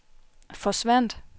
forsvandt